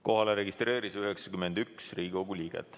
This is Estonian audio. Kohalolijaks registreerus 91 Riigikogu liiget.